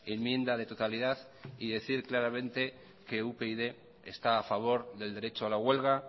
enmienda de totalidad y decir claramente que upyd está a favor del derecho a la huelga